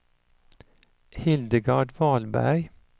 Hildegard Wahlberg